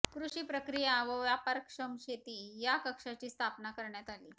कृषि प्रक्रिया व व्यापारक्षम शेती या कक्षाची स्थापना करण्यात आली